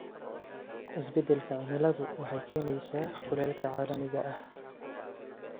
Isbeddelka cimiladu waxay keenaysaa kulaylka caalamiga ah.